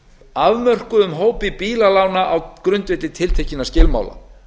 afmörkuðum hópi bílalána á grundvelli tiltekinna skilmála